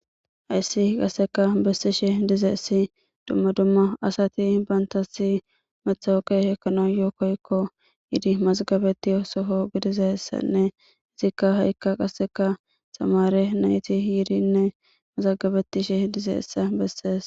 Haysi qaseka besishe dizaysi duma duma asati bantas matoqe ekanayo koyko gidi masgabetiya Soho gidizaysanne qaseka ha'i ka qaseka tamare nayti yidinne mazagabetishe dizaysa beses.